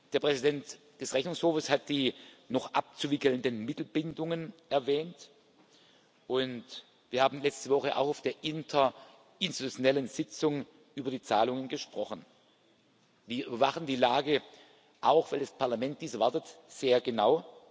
Der Präsident des Rechnungshofes hat die noch abzuwickelnden Mittelbindungen erwähnt, und wir haben letzte Woche auch auf der interinstitutionellen Sitzung über die Zahlungen gesprochen. Wir überwachen die Lage auch weil das Parlament dies erwartet sehr genau.